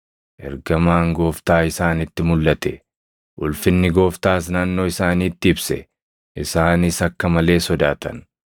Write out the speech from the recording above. Ergamaan Gooftaa isaanitti mulʼate; ulfinni Gooftaas naannoo isaaniitti ibse; isaanis akka malee sodaatan.